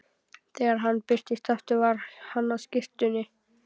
Þegar hann birtist aftur var hann á skyrtunni.